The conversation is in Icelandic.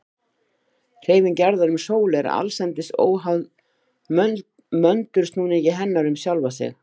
Hreyfing jarðar um sólu er allsendis óháð möndulsnúningi hennar um sjálfa sig.